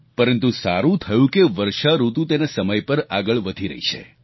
પરંતુ સારું થયું કે વર્ષાઋતુ તેના સમય પર આગળ વધી રહી છે